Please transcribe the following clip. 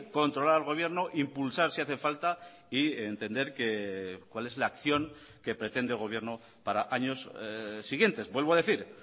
controlar al gobierno impulsar si hace falta y entender cuál es la acción que pretende el gobierno para años siguientes vuelvo a decir